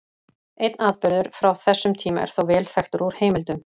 Einn atburður frá þessum tíma er þó vel þekktur úr heimildum.